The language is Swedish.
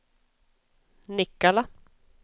Nikkala